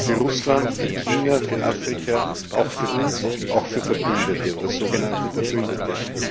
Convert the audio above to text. Sie gelten für Russland, für China, für Afrika, auch für uns, auch für Verbündete oder sogenannte Verbündete.